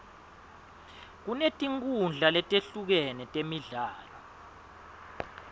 kunetinkhundla letehlukene temidlalo